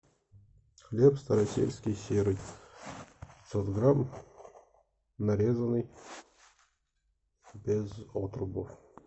хлеб старосельский серый пятьсот грамм нарезанный без отрубов